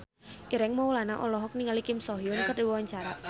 Ireng Maulana olohok ningali Kim So Hyun keur diwawancara